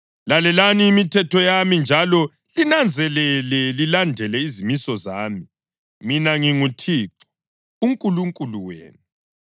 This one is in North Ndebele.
Lalelani imithetho yami njalo linanzelele, lilandele izimiso zami. Mina nginguThixo uNkulunkulu wenu.